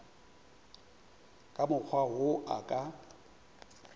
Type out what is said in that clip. ka mokgwa wo a ka